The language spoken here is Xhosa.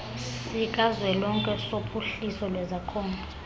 sikazwelonke sophuhliso lwezakhono